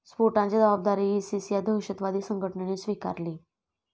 स्फोटांची जबाबदारी इसिस या दहशतवादी संघटनेने स्वीकारली.